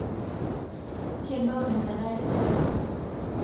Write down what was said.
kebau enkata esiasa